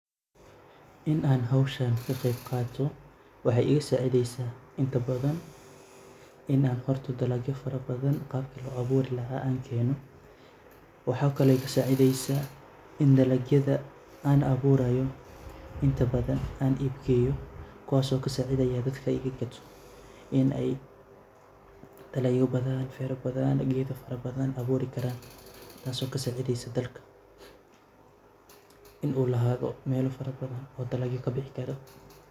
In an howshan kaqebqato waxay iga sacideysa inta badhan inan horta dalagyo badhan qabki loo aburi lahay an keno, waxay kale igasacideysa in dalagyada an aburayo inta badhan an ib geyo kuwas oo kasaciyah dadka iga ib gato dalagyo farabadhan gedo fara badhan tasi oo kasacideyso dalka inu lahado mela fara badhan oo dalagyo kabixi karo.